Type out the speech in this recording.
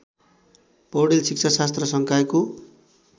पौडेल शिक्षाशास्त्र संकायको